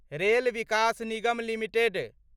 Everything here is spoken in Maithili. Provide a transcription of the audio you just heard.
rail Vikas Nigam limited